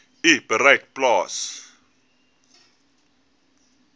u bereik plaas